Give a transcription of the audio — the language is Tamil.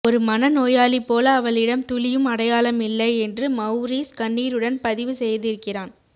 ஒரு மனநோயாளி போல அவளிடம் துளியும் அடையாளமில்லை என்று மௌரீஸ் கண்ணீருடன் பதிவு செய்திருக்கிறான்